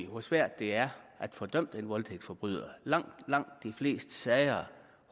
hvor svært det er at få dømt den voldtægtsforbryder langt langt de fleste sager